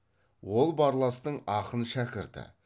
ол барластың ақын шәкірті